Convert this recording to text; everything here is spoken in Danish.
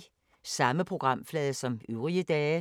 Samme programflade som øvrige dage